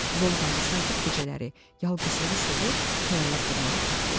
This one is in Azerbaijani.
Volqanı sakit gecələri, yalqızlığı sevir, xəyallar qurmağı xoşlayırdı.